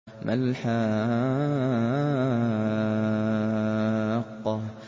مَا الْحَاقَّةُ